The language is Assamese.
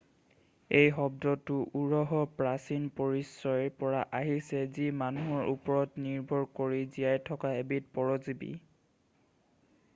এই শব্দটো উৰহৰ প্ৰাচীন পৰিচয়ৰ পৰা আহিছে যি মানুহৰ ওপৰত নিৰ্ভৰ কৰি জীয়াই থকা এবিধ পৰজীৱি